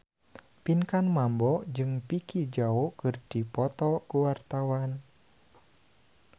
Pinkan Mambo jeung Vicki Zao keur dipoto ku wartawan